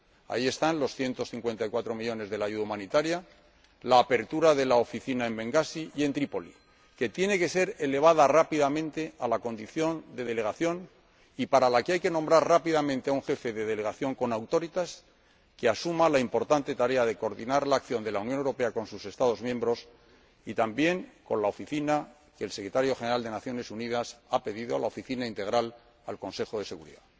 Ahí están los 154 millones de euros de la ayuda humanitaria y la apertura de la Oficina en Bengasi y en Trípoli, que tiene que ser elevada rápidamente a la condición de delegación y para la que hay que nombrar rápidamente a un jefe de delegación con auctoritas que asuma la importante tarea de coordinar la acción de la Unión Europea con sus Estados miembros y también con la Oficina que el Secretario General de las Naciones Unidas ha pedido a la Oficina integral, al Consejo de Seguridad.